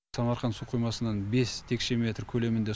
самарқанд су қоймасынан бес текше метр көлемінде